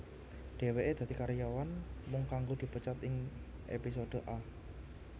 Dheweke dadi karyawan mung kanggo dipecat ing episode Arrgh